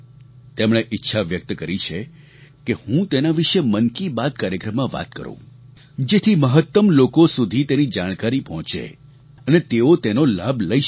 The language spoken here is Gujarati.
તેમણે ઈચ્છા વ્યક્ત કરી છે કે હું તેના વિશે મન કી બાત કાર્યક્રમમાં વાત કરું જેથી મહત્તમ લોકો સુધી તેની જાણકારી પહોંચે અને તેઓ તેનો લાભ લઈ શકે